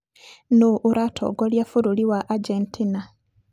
Nũũ ũratongoria bũrũri wa Argentina?